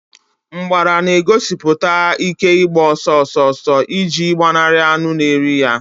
mgbada na-egosipụta ike ịgba ọsọ ọsọ ọsọ iji gbanarị anụ na eri ha.